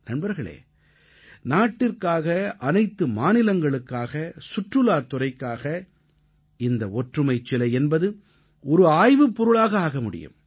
நண்பர்களே நாட்டிற்காக அனைத்து மாநிலங்களுக்காக சுற்றுலாத் துறைக்காக இந்த ஒற்றுமைச் சிலை என்பது ஒரு ஆய்வுப் பொருளாக ஆக முடியும்